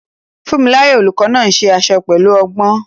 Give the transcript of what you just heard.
Funmilayo, the teacher, also makes dresses skillfully.